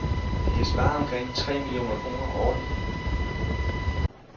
De kan spare omkring tre millioner kroner årligt.